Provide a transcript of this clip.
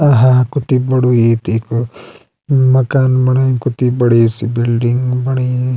आहा कती बडू ए तेकू मकान बणायो कती बड़ी सी बिलडिंग बणी।